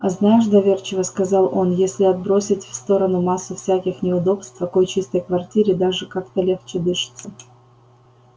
а знаешь доверчиво сказал он если отбросить в сторону массу всяких неудобств в такой чистой квартире даже как-то легче дышится